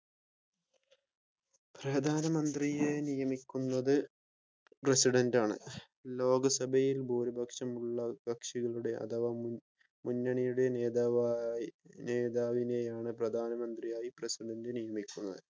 പ്രധാന മന്ത്രിയെ നിയമിക്കുന്നത് പ്രസിഡന്റാണ് ലോകസഭയിൽ ഭൂരിപക്ഷമുള്ള കക്ഷികളുടെ അഥവാ മുന്നണിയുടെ നേതാവായി നേതാവിനെയാണ് പ്രധാനമന്ത്രിയായി പ്രസിഡന്റ് നിയമിക്കുന്നത്